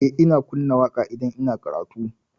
Eh, ina kunna waƙa idan ina karatu.